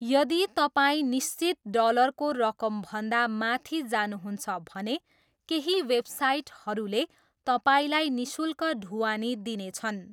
यदि तपाईँ निश्चित डलरको रकमभन्दा माथि जानुहुन्छ भने केही वेबसाइटहरूले तपाईँलाई निःशुल्क ढुवानी दिनेछन्।